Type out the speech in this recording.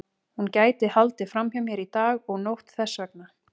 Hún gæti haldið fram hjá mér dag og nótt þess vegna.